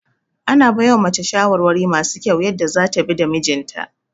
Ana baiwa mace shawarwari masu kyau yadda zata bi da mijinta